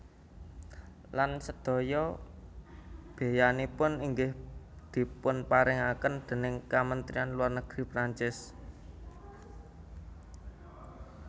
Lan sedaya beyanipun inggih dipunparingaken déning Kamentrian Luar Negeri Prancis